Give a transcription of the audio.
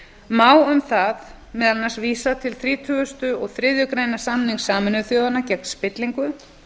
má um það meðal annars vísa til þrítugustu og þriðju greinar samnings sameinuðu þjóðanna gegn spillingu